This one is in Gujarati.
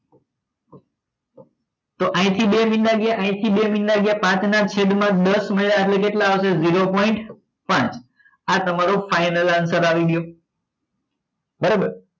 તો અહીંથી બે મીંડા ગયા અહીંથી બે મીંડા ગયા પાંચમા છેદમાં દસ ઉમરાયા છે કેટલા આવશે zero point પાચ આ તમારો final answer આવી ગયો બરાબર